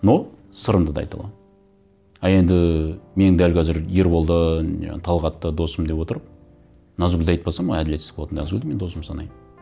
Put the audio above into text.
но сырымды да айта аламын а енді мен дәл қазір ерболды жаңағы талғатты досым деп отырып назгүлді айтпасам әділетсіз болады назгүлді мен досым санаймын